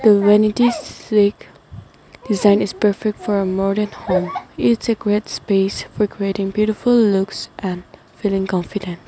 The vanity design is perfect for a modern home it's great space beautiful looks and and feeling confident.